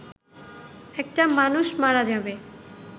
একটা মানুষ মারা যাবে